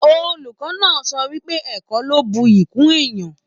Olùkọ náà sọ wípé ẹ̀kọ́ lọ n bùyí kún èèyàn.